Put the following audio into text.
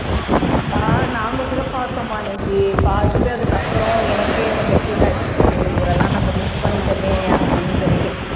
ஆஹ் நாங்க கூட பார்த்தோம்மா அன்னைக்கு பார்த்துட்டு அதுக்கு அப்புறம் எனக்கே ரொம்ப பீல் ஆயிடுச்சு ஐயோ இவரெல்லாம் நம்ம miss பண்ணிட்டோமே அப்படின்னு சொல்லிட்டு